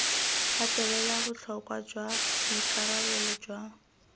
gatelela botlhokwa jwa boikarabelo jwa